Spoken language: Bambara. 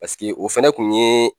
Paseke o fɛnɛ kun yee